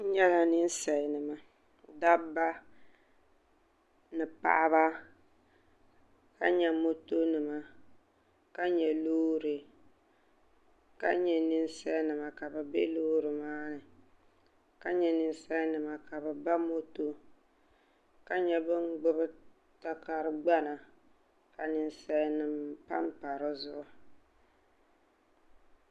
n nyɛla ninsali nima dabba ni paɣaba ka nyɛ moto nima ka nyɛ loori ka nyɛ ninsal nima ka bi nɛ Loori maa ni ka nyɛ ninsal nima ka bi ba moto ka nyɛ bin gbubi takari gbana ka ninsal nim panpa dizuɣu